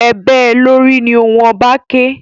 E bée lórì! Ni ohùn oba ké!